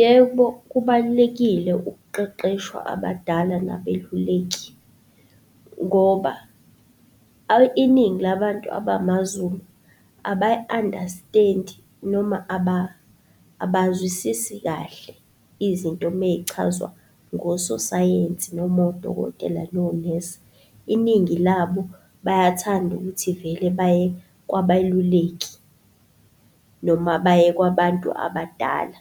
Yebo, kubalulekile ukuqeqeshwa abadala nabeluleki, ngoba iningi labantu abamazulu abayi-understand-i, noma abazwisisi kahle izinto mey'chazwa ngososayensi noma odokotela nonesi. Iningi labo bayathanda ukuthi vele baye kwabaluleki, noma baye kwabantu abadala,